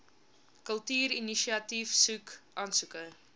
kultuurinisiatief soek aansoeke